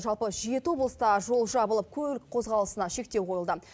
жалпы жеті облыста жол жабылып көлік қозғалысына шектеу қойылды